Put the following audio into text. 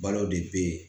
Baaraw de bɛ ye